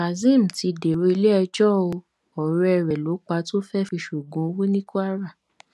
kazeem ti dèrò iléẹjọ ó ọrẹ rẹ ló pa tó fẹẹ fi ṣoògùn owó ní kwara